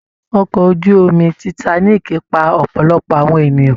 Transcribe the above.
Ọkọ ojú omi Titanic pa ọ̀pọ̀lọpọ̀ àwọn ènìyàn